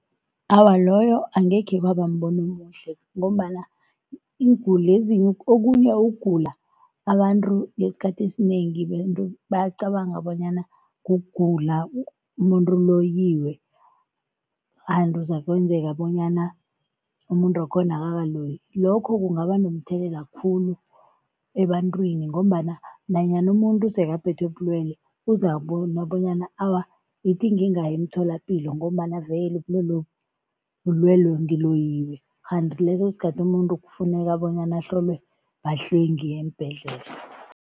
Awa, loyo angekhe kwaba mbono omuhle ngombana iinguli okunye ukugula abantu ngesikhathi esinengi bacabanga bonyana kugula, umuntu uloyiwe kuzakwenzeka bonyana umuntu wakhona akakaloywi, lokho kungaba nomthelela khulu ebantwini ngombana nanyana umuntu sekaphethwe bulwelwe, uzakubona bonyana awa, ithi ngingayi emtholapilo ngombana vele ubulwelobu bulwelwe ngiloyiwe kanti leso sikhathi umuntu kufuneka bonyana ahlolwe bahlwengi eembhedlela.